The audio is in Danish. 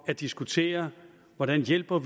at diskutere hvordan vi hjælper